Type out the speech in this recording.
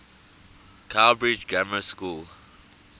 cowbridge grammar school